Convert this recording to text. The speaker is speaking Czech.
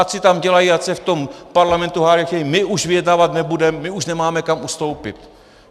Ať si tam dělají, ať se v tom parlamentu hádají, my už vyjednávat nebudeme, my už nemáme kam ustoupit.